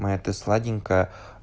моя ты сладенькая